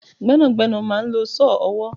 Gbẹ́nàgbẹ́nà máa ń lò saw ọwọ